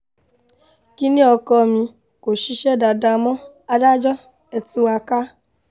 kínní ọkọ mi kò ṣiṣẹ́ dáadáa mọ́ adájọ́ ẹ̀ tú wa ká